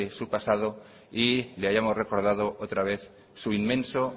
su pasado yle hayamos recordado otra vez su inmenso